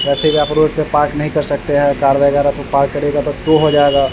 जैसे की आप रोड पे पार्क नहीं कर सकते है कार वगेरा तो पार्क करियेगा तो टो हो जायेगा।